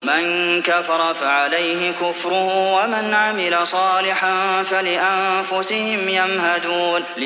مَن كَفَرَ فَعَلَيْهِ كُفْرُهُ ۖ وَمَنْ عَمِلَ صَالِحًا فَلِأَنفُسِهِمْ يَمْهَدُونَ